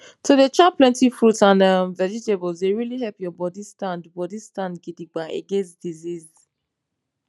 to dey chop plenty fruits and emm vegetables dey really help your bodi stand bodi stand gidigba against disease